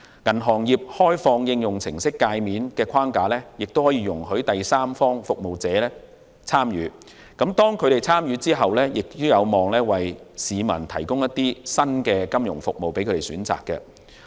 銀行業開放應用程式介面的框架亦容許第三方服務者參與，當他們參與後，亦有望為市民提供新的金融服務選擇。